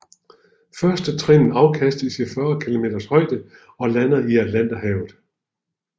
Førstetrinnet afkastes i 40 km højde og lander i Atlanterhavet